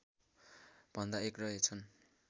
भन्दा एक रहेछन्